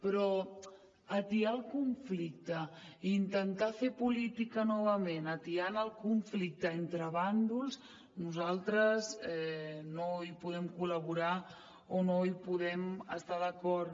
però atiar el conflicte i intentar fer política novament atiant el conflicte entre bàndols nosaltres no hi podem col·laborar o no hi podem estar d’acord